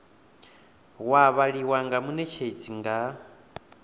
wa vhaliwa nga munetshedzi nga